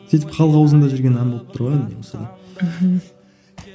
сөйтіп халық аузында жүрген ән болып тұр ғой енді не болса да мхм